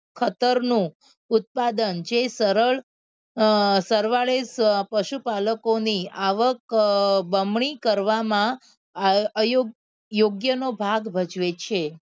ખતર નું ઉત્પાદન જે સરળ અ સરવાળે પશુપાલકો ની આવક અ બમણી કરવામાં અયોગ યોગ્ય નો ભાગ ભજવે છે.